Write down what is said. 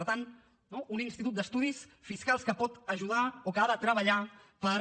per tant no un institut d’estudis fiscals que pot ajudar o que ha de treballar per